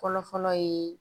Fɔlɔ fɔlɔ ye